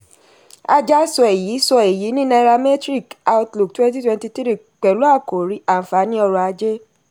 aja sọ èyí sọ èyí ní nairametrics economic outlook twenty twenty three pẹ̀lú àkòrí àǹfààní ọrọ̀-ajé.